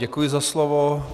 Děkuji za slovo.